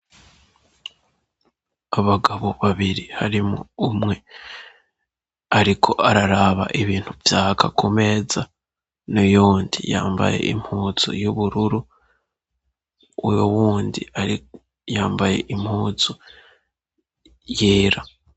abagabo babiri harimwo umwe ariko araraba ibintu vyaka kumeza nuyundi yambaye impuzu y'ubururu uyo wundi yambaye impuzu yera